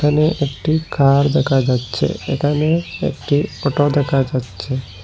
এখানে একটি কার দেখা যাচ্চে এখানে একটি অটো দেখা যাচ্চে ।